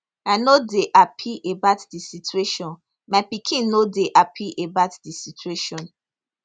i no dey happy about di situation my pikin no dey happpy about di situation